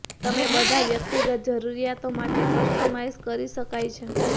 તમે બધા વ્યક્તિગત જરૂરિયાતો માટે કસ્ટમાઇઝ કરી શકાય છે